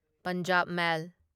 Punjab ꯃꯦꯜ